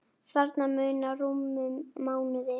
Þarna munar rúmum mánuði.